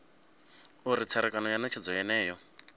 uri tserekano ya netshedzo yeneyo